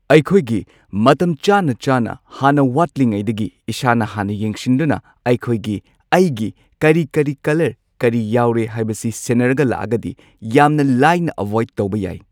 ꯑꯩꯈꯣꯏꯒꯤ ꯃꯇꯝ ꯆꯥꯅ ꯆꯥꯅ ꯍꯥꯟꯅ ꯋꯥꯠꯂꯤꯉꯩꯗꯒꯤ ꯏꯁꯥꯅ ꯍꯥꯟꯅ ꯌꯦꯡꯁꯤꯟꯗꯨꯅ ꯑꯩꯈꯣꯏꯒꯤ ꯑꯩꯒꯤ ꯀꯔꯤ ꯀꯔꯤ ꯀꯂꯔ ꯀꯔꯤ ꯌꯥꯎꯔꯦ ꯍꯥꯢꯕꯁꯤ ꯁꯦꯟꯅꯔꯒ ꯂꯥꯛꯑꯒꯗꯤ ꯌꯥꯝꯅ ꯂꯥꯏꯅ ꯑꯚꯣꯢꯗ ꯇꯧꯕ ꯌꯥꯏ꯫